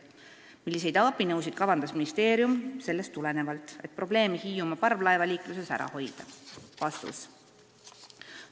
Milliseid abinõusid kavandas ministeerium sellest tulenevalt, et probleeme Hiiumaa parvlaevaliikluses ära hoida?